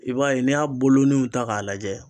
I b'a ye n'i y'a boloninw ta k'a lajɛ